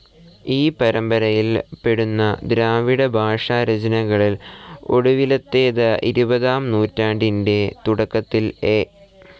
ഈ പരമ്പരയിൽ പെടുന്ന ദ്രാവിഡഭാഷാരചനകളിൽ ഒടുവിലത്തേത്, ഇരുപതാം നൂറ്റാണ്ടിന്റെ തുടക്കത്തിൽ എ.